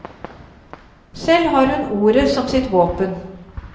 Selv har hun ordet som sitt våpen.